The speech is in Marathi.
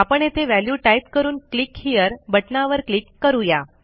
आपण येथे व्हॅल्यू टाईप करून क्लिक हेरे बटणावर क्लिक करू या